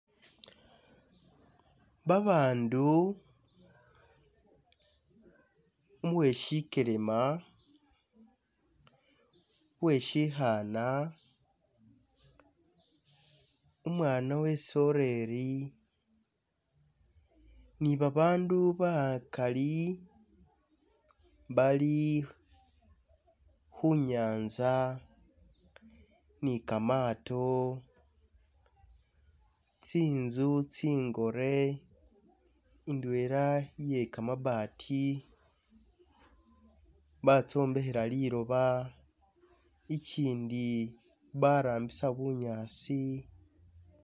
Babaandu, uwe syikelema, uwesyikhana, umwana we soreri, ni babaandu bakali bali khu nyanza ni kamaato, tsinzu tsingore ndwela iye kamabati batsobekhela liloba, ikyindi barambisa bunyasi...